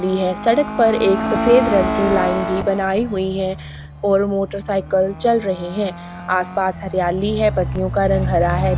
ली है सड़क पर एक सफेद रंग की लाइन भी बनाई हुई है और मोटर साइकिल चल रहे है आस-पास हरियाली है पत्तियों का रंग हरा है बी--